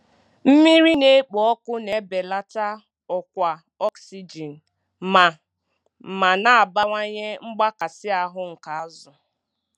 Mmiri na-ekpo ọkụ na-ebelata ọkwa ọksijin ma ma na-abawanye mgbakasị ahu nke azụ.